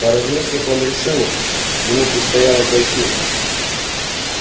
поразмыслив он решил ему предстояло пройти